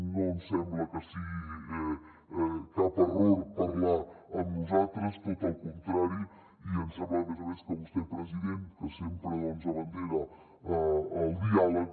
no ens sembla que sigui cap error parlar amb nosaltres al contrari i ens sembla a més a més que vostè president que sempre va al capdavant del diàleg